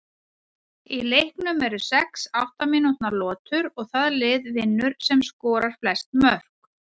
Í leiknum eru sex átta mínútna lotur og það lið vinnur sem skorar flest mörk.